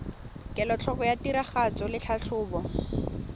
kelotlhoko ya tiragatso le tlhatlhobo